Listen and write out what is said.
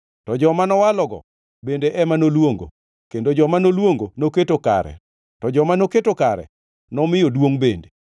To joma nowalogo bende ema noluongo; kendo joma noluongo noketo kare to joma noketo kare nomiyo duongʼ bende.